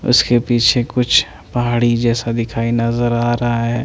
उसके पीछे कुछ पहाड़ी जेर्सा दिखाई नज़र आ रहा है।